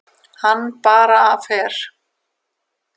Hann bara fer.